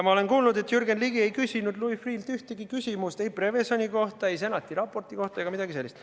Ma olen kuulnud, et Jürgen Ligi ei küsinud Louis Freeh'lt ühtegi küsimust ei Prevezoni kohta ega Senati raporti kohta, mitte midagi sellist.